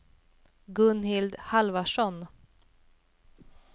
Gunhild Halvarsson